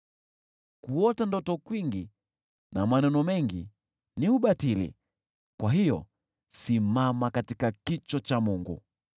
Kuota ndoto kwingi na maneno mengi ni ubatili. Kwa hiyo simama katika kicho cha Mungu.